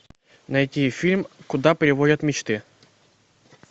найти фильм куда приводят мечты